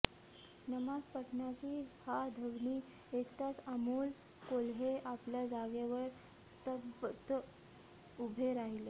नमाज पठणाची हा ध्वनी ऐकताच अमोल कोल्हे आपल्या जागेवर स्तब्ध उभे राहिले